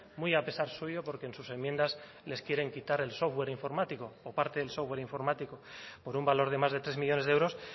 muy a pesar suyo porque en sus enmiendas les quieren quitar el software informático o parte del software informático por un valor de más de tres millónes de euros